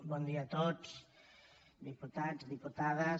bon dia a tots diputats diputades